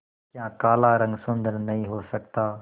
क्या काला रंग सुंदर नहीं हो सकता